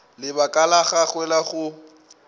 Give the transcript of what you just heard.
lebaka la gagwe la go